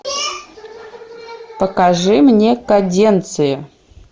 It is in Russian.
покажи мне каденции